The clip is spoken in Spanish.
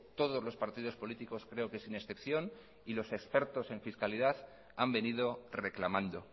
todos los partidos políticos creo que sin excepción y los expertos en fiscalidad han venido reclamando